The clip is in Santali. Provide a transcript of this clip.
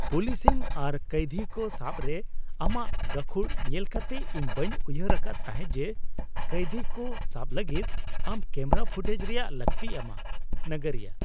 ᱯᱩᱞᱤᱥᱤᱝ ᱟᱨ ᱠᱟᱹᱭᱫᱷᱤ ᱠᱚ ᱥᱟᱵ ᱨᱮ ᱟᱢᱟᱜ ᱜᱟᱹᱠᱷᱩᱲ ᱧᱮᱞ ᱠᱟᱛᱮᱜ, ᱤᱧ ᱵᱟᱹᱧ ᱩᱭᱦᱟᱹᱨ ᱟᱠᱟᱫ ᱛᱟᱦᱮᱸᱜ ᱡᱮ ᱠᱟᱹᱭᱫᱷᱤ ᱠᱚ ᱥᱟᱵ ᱞᱟᱹᱜᱤᱫ ᱟᱢ ᱠᱮᱢᱨᱟ ᱯᱷᱩᱴᱮᱡᱽ ᱨᱮᱭᱟᱜ ᱞᱟᱹᱠᱛᱤᱭ ᱟᱢᱟ ᱾ (ᱱᱟᱜᱟᱨᱤᱭᱟᱹ)